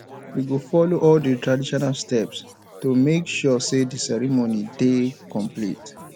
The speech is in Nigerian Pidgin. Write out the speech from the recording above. we go follow all di traditional steps to make sure say di ceremony dey complete